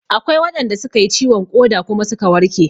Akwai waɗanda suka yi ciwon ƙoda kuma suka warke